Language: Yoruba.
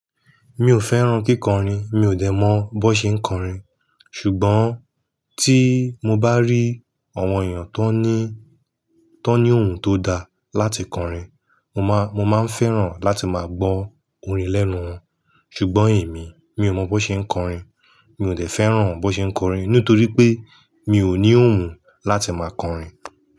Mi ò fẹ́ràn kíkọrin, mi ò dẹ̀ mọ bó ṣe ń kọrin. Ṣùgbọ́n tí mo bá rí àwọn èèyàn tó ní, tó ní ohùn tó da láti kọrin, mo má, mo má ń fẹ́ràn láti má gbọ́ orin lẹ́nu wọn. Ṣùgbọ́n èmi, mi ò mọ bó ṣe ń kọrin. Mi ò dẹ̀ fẹ́ràn bó ṣe ń kọrin nítorí pé mi ò ní ohùn láti má kọrin.